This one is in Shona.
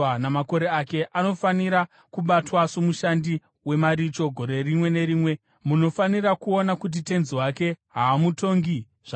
Anofanira kubatwa somushandi wemaricho gore rimwe nerimwe; munofanira kuona kuti tenzi wake haamutongi zvakaomarara.